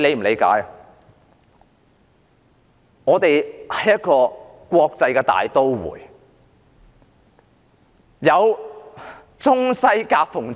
香港是一個國際大都會，處在中西夾縫之中。